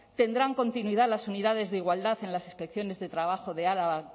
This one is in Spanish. tendrán continuidad las unidades de igualdad en las inspecciones de trabajo de araba